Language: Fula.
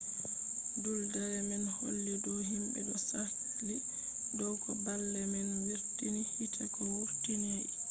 duuldere man holli dow himɓe ɗo sakli dow ko baalle man wurtini hite ko wurtinai